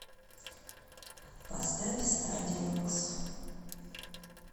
поставь стадиумкс